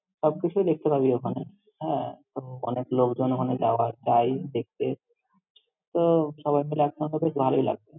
সবকিছুই দেখতে পাবি ওখানে। হ্যাঁ, তো অনেক লোকজন ওখানে যাওয়া~ যাই দেখেতে, তো সবাই মিলে একসঙ্গে বেশ ভালোই লাগবে।